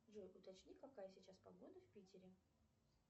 джой уточни какая сейчас погода в питере